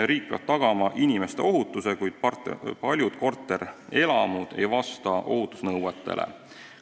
Riik peab tagama inimeste ohutuse, kuid paljud korterelamud ei vasta ohutusnõuetele.